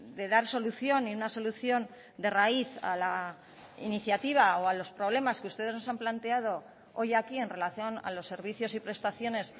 de dar solución y una solución de raíz a la iniciativa o a los problemas que ustedes nos han planteado hoy aquí en relación a los servicios y prestaciones